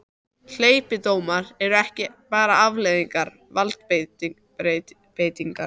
Hleypidómar eru ekki bara afleiðing valdbeitingar.